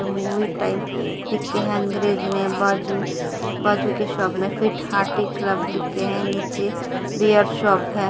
Movie time लिखे हैं अंग्रेजी में बाजू बाजू के शॉप में फिट हार्टी क्लब लिखे हैं नीचे बेयर शॉप है।